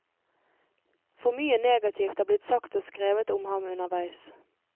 For mye negativt er blitt sagt og skrevet om ham underveis.